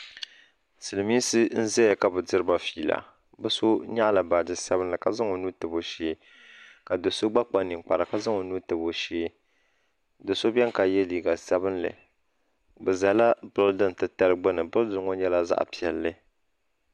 Silimiinsi n zaya ka bɛ diriba fiila bɛ so nyaɣala baaji sabinli ka zaŋ o nuu tabi o shee ka do'so gba kpa ninkpara ka zaŋ o nuu tabi o shee do'so biɛni ka ye liiga sabinli bɛ zala bildin tatali gbini bildin ŋɔ nyɛla zaɣa piɛlli .